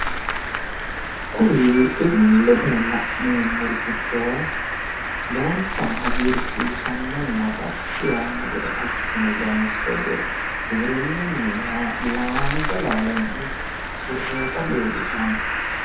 kuri illete la'neemmori giddo lowonta hagiirsiissannonna dassi yaanno gede assine loonse giwirinnunniha haanja laalonni usaaurroyiita leellishanno.